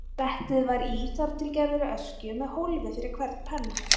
Settið var í þar til gerðri öskju með hólfi fyrir hvern penna.